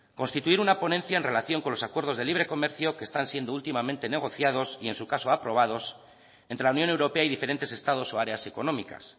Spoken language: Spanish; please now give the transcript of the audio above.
constituir una ponencia en relación con los acuerdos de libre comercio que están siendo últimamente negociados y en su caso aprobados entre la unión europea y diferentes estados o áreas económicas